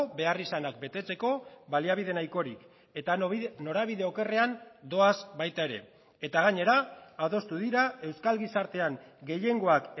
beharrizanak betetzeko baliabide nahikorik eta norabide okerrean doaz baita ere eta gainera adostu dira euskal gizartean gehiengoak